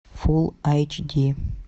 фулл айч ди